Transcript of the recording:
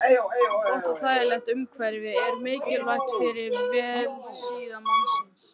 Gott og þægilegt umhverfi er mikilvægt fyrir vellíðan mannsins.